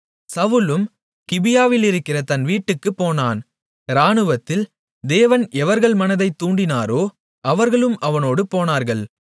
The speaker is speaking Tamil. சவுலும் கிபியாவிலிருக்கிற தன் வீட்டுக்குப் போனான் இராணுவத்தில் தேவன் எவர்கள் மனதைத் தூண்டினாரோ அவர்களும் அவனோடு போனார்கள்